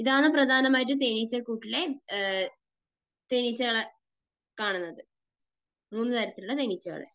ഇതാണ് പ്രധാനമായിട്ടും തേനീച്ചക്കൂട്ടിലെ തേനീച്ചകളെ കാണുന്നത്. മൂന്നുതരത്തിലുള്ള തേനീച്ചകൾ.